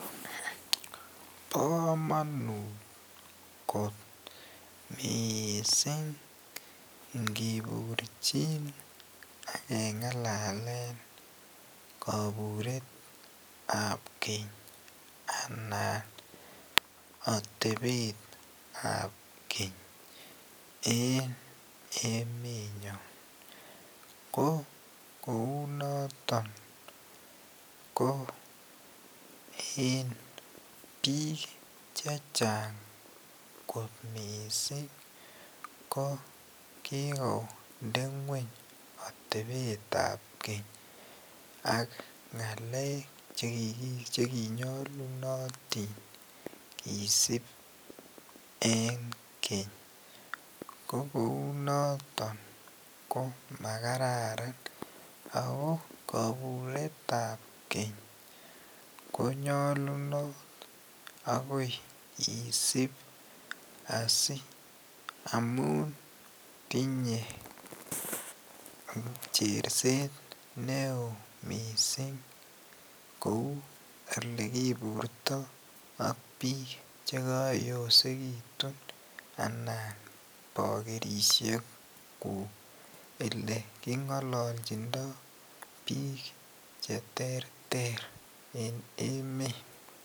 Bo komonut kot mising ingiburjin agengalallen koburetab keny anan otebetab keny eng emenyon ko kounoton ko eng bik chechang kot mising ko kikonde ngwony otebetab keny ak ngalek che kinyolunotin kisib eng keny, ko kounoton ko makararan ago koburetab keny konyolunot agoi isib asi amun tinye cherset neo mising kou ole kiburto ak bik che koyosekitun anan bokerisiekuk ole kingololjindo bik che terter eng emet.